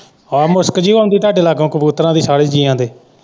ਆ ਮੁਸ਼ਕ ਜੀ ਆਉਂਦੀ ਤਾਡੇ ਲਾਗੋ ਕਬੂਤਰਾਂ ਦੀ ਸਾਰੇ ਜੀਆਂ ਦੇ।